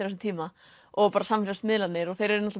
þessum tíma og bara samfélagsmiðlarnir þeir eru